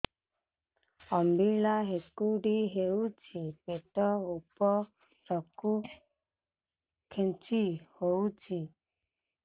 ଅମ୍ବିଳା ହେକୁଟୀ ହେଉଛି ପେଟ ଉପରକୁ ଖେଞ୍ଚି ହଉଚି